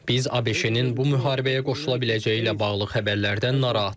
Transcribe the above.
Biz ABŞ-nin bu müharibəyə qoşula biləcəyi ilə bağlı xəbərlərdən narahatıq.